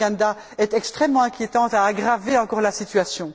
Ntanganda est extrêmement inquiétante et a aggravé encore la situation.